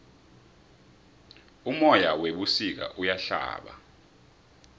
umoya webusika uyahlaba